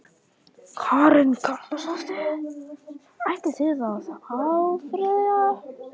Karen Kjartansdóttir: Ætlið þið að áfrýja?